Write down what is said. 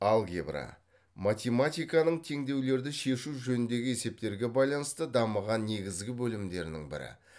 алгебра математиканың теңдеулерді шешу жөніндегі есептерге байланысты дамыған негізгі бөлімдерінің бірі